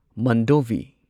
Mandovi